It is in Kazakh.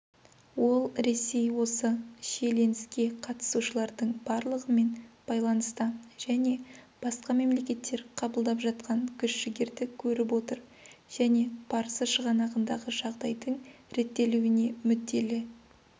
ол ресей осы шиеленіске қатысушылардың барлығымен байланыста және басқа мемлекеттер қабылдап жатқан күш-жігерді көріп отыр және парсы шығанағындағы жағдайдың реттелуіне мүдделі